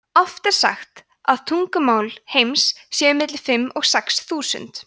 oft er sagt að tungumál heims séu milli fimm og sex þúsund